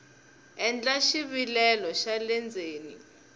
endla xivilelo xa le ndzeni